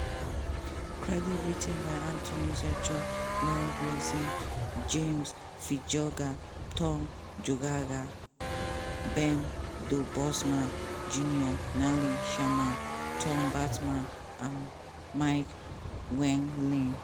credits writ ten by anthony zurcher laura blasey james fitzgerald tom geoghegan bernd debusmann jr natalie sherman tom bateman and mike wendling.